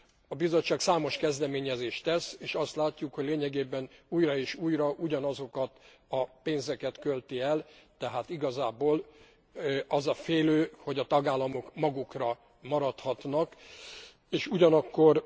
A Bizottság számos kezdeményezést tesz, és azt látjuk, hogy lényegében újra és újra ugyanazokat a pénzeket költi el, tehát igazából az a félő, hogy a tagállamok magukra maradhatnak, és ugyanakkor